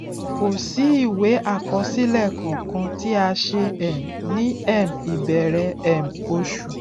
kò sì ìwé àkọsílẹ kankan tí a ṣe um ní um ìbẹrẹ um oṣù